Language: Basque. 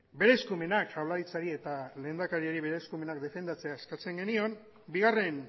bere eskumenak jaurlaritzari eta lehendakariari bere eskumenak defendatzea eskatzen genion bigarren